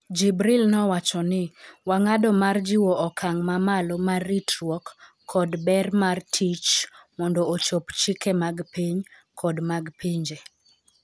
Jibril nowacho ni, "Wang'ado mar jiwo okang' mamalo mar ritruok kod ber mar tich mondo ochop chike mag piny kod mag pinje".